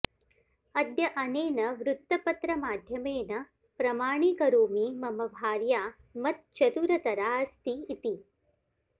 अद्य अनेन वृत्तपत्रमाध्यमेन प्रमाणीकरोमि मम भार्या मत् चतुरतरा अस्ति इति